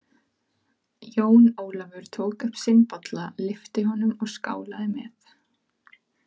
Jón Ólafur tók upp sinn bolla, lyfti honum og skálaði með.